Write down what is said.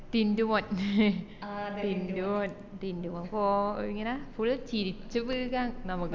ടിന്റുമോൻ ടിന്റുമോൻ കോ ഇങ്ങനെ full ചിരിച് വീക നമ്ക്